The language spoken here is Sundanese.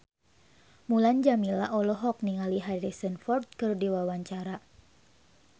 Mulan Jameela olohok ningali Harrison Ford keur diwawancara